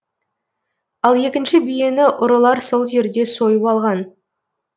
ал екінші биені ұрылар сол жерде сойып алған